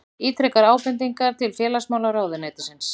Ítrekar ábendingar til félagsmálaráðuneytisins